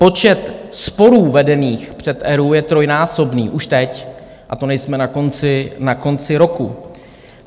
Počet sporů vedených před ERÚ je trojnásobný už teď a to nejsme na konci roku.